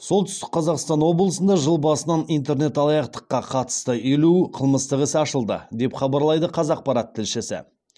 солтүстік қазақстан облысында жыл басынан интернет алаяқтыққа қатысты елу қылмыстық іс ашылды деп хабарлайды қазақпарат тілшісі